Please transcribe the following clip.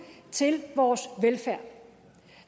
til vores velfærd